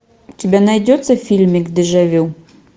у тебя найдется фильмик дежавю